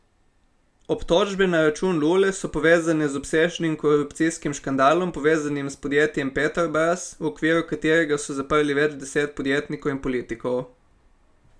Obtožbe na račun Lule so povezane z obsežnim korupcijskim škandalom, povezanim s podjetjem Petrobras, v okviru katerega so zaprli več deset podjetnikov in politikov.